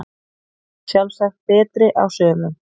Sjálfsagt betri á sumum